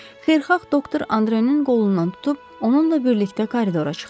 Xeyirxah doktor Andrenin qolundan tutub onunla birlikdə koridora çıxdı.